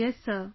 Yes sir